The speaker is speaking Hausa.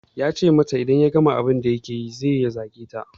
Ya gaya mata in ya gama abun da yake yanzun zai zage ta